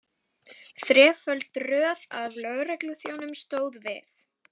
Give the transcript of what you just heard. Þreföld röð af lögregluþjónum stóð við